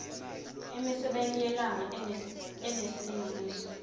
emisebeni yelanga enesilinganiso